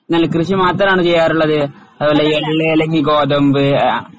നെൽകൃഷി മാത്രമാണോ ചെയ്യാറുള്ളത്? അതുപോലെ എള്ള് അല്ലെങ്കിൽ ഗോതമ്പ്